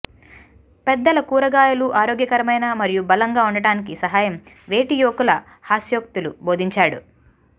పెద్దల కూరగాయలు ఆరోగ్యకరమైన మరియు బలంగా ఉండటానికి సహాయం వేటి యువకులు హాస్యోక్తులు బోధించాడు